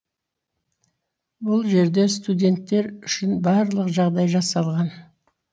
бұл жерде студенттер үшін барлық жағдай жасалған